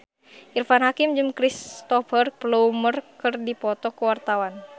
Irfan Hakim jeung Cristhoper Plumer keur dipoto ku wartawan